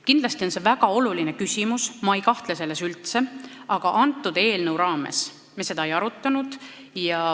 Kindlasti on see väga oluline küsimus – ma üldse ei kahtle selles –, aga selle eelnõu raames me seda ei arutanud.